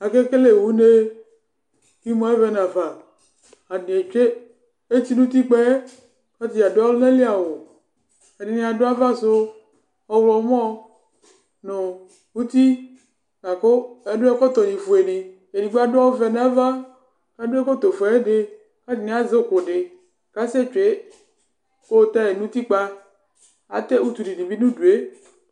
Aka kele une Emu avɛ nu afa Atani etsue etsi nu utikpa yɛ Ɛdini adu ɔlunali awu Ɛdini adu ava su ɔwlɔmɔ nu uti la ku adu ɛkɔtɔni fue ni Ɛdigbo adu ɔvɛ nu ava la du ɛkɔtɔ fue ayidi Ku Ɛdini azɛ uku di Ku asɛ tsue ku ut nu utikpa Atɛ utunu di bi nu udu yɛ